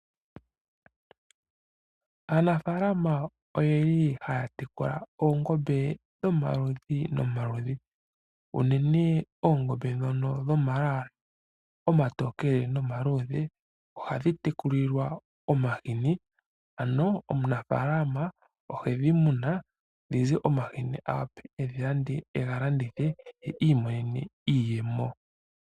Aanafalama ohaya tekula oongombe dhomaludhi nomaludhi. Unene oongombe dhono dhomalwaala omatokele nomaluudhe, ohadhi tekulilwa omahini. Ano omunafalama ohedhi muna dhi ze omahini a wape e ga landithe ye iimonene iiyemo.